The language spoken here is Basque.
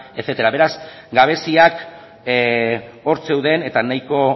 etcétera beraz gabeziak hor zeuden eta nahiko